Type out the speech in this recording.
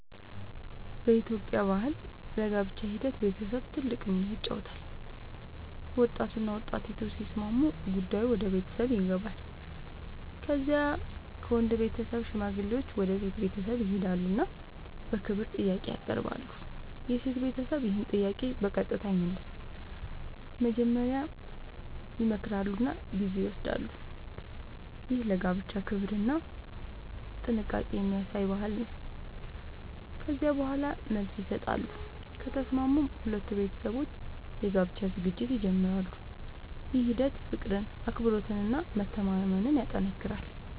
በኢትዮጵያ ባህል ለጋብቻ ሂደት ቤተሰብ ትልቅ ሚና ይጫወታል። ወጣቱና ወጣቲቱ ሲስማሙ ጉዳዩ ወደ ቤተሰብ ይገባል። ከዚያ ከወንድ ቤተሰብ ሽማግሌዎች ወደ ሴት ቤተሰብ ይሄዳሉ እና በክብር ጥያቄ ያቀርባሉ። የሴት ቤተሰብ ይህን ጥያቄ በቀጥታ አይመልስም፤ መጀመሪያ ይመክራሉ እና ጊዜ ይወስዳሉ። ይህ ለጋብቻ ክብርና ጥንቃቄ የሚያሳይ ባህል ነው። ከዚያ በኋላ መልስ ይሰጣሉ፤ ከተስማሙም ሁለቱ ቤተሰቦች የጋብቻ ዝግጅት ይጀምራሉ። ይህ ሂደት ፍቅርን፣ አክብሮትን እና መተማመንን ያጠናክራል።